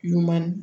Ɲuman